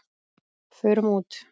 Fórum út!